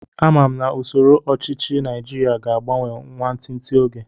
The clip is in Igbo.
Ama m na usoro ọchichi naijiria ga agbanwe nwantinti oge